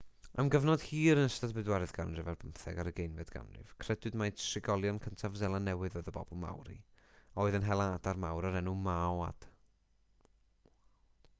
am gyfnod hir yn ystod y bedwaredd ganrif ar bymtheg a'r ugeinfed ganrif credwyd mai trigolion cyntaf seland newydd oedd y bobl maori a oedd yn hela adar mawr o'r enw moaod